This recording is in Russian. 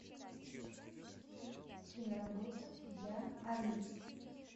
киноработа я али